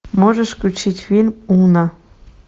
можешь включить фильм уна